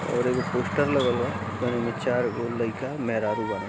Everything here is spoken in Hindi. और एगो पोस्टर लगल बा में चार गो लइका मेहरारू बा--